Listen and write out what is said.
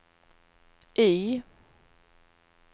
Y